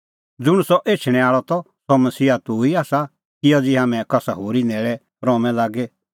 ज़ुंण सह एछणैं आल़अ त सह मसीहा तूह ई आसा कि अज़ी हाम्हैं कसा होरी न्हैल़ै रहूंमै लागी